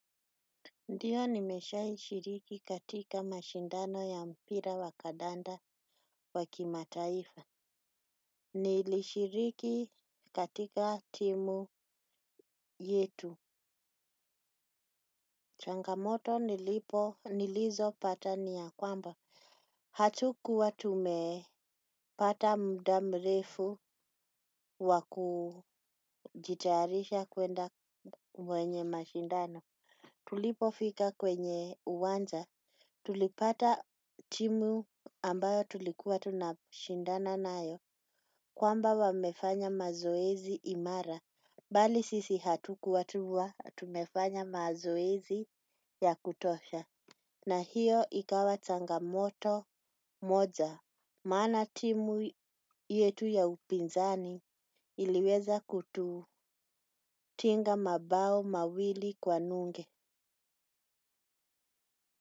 Ndiyo nimeshaishiriki katika mashindano ya mpira wa kandanda waki mataifa. Nilishiriki katika timu yetu. Changamoto nilizopata ni yakwamba, hatukuwa tumepata muda mrefu wakujitayarisha kwenda kwenye mashindano. Tulipofika kwenye uwanja, tulipata timu ambayo tulikuwa tunashindana nayo kwamba wamefanya mazoezi imara. Bali sisi hatukuwa tumefanya mazoezi ya kutosha. Na hiyo ikawa changamoto moja. Maana timu yetu ya upinzani iliweza kutu tinga mabao mawili kwa nunge.